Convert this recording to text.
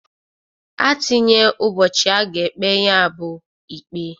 A tinye ụbọchị a ga-ekpe nyabụ ikpe.